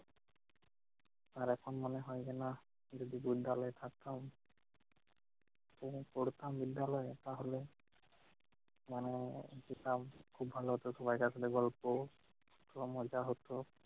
আর এখন মনে হয় যে নাহ যদি বিদ্যালয়ে থাকতাম যদি পড়তাম বিদ্যালয় তাহলে মানে যেতাম খুব ভালো হতো। সবাই থাকলে গল্প ও মজা হতো